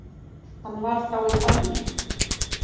Hann var þá í banni.